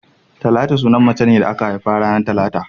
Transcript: Talatu suna ne na macen da aka haifa ranar talata